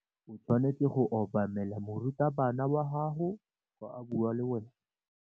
O tshwanetse go obamela morutabana wa gago fa a bua le wena.